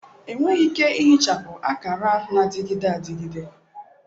Enweghị ike ihichapụ akara na-adịgide adịgide